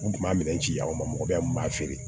U kun b'a minɛn ci ci aw ma mɔgɔ bɛɛ kun b'a feere